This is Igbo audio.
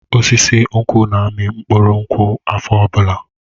Osisi nkwụ na-amị mkpụrụ nkwụ afọ ọbụla.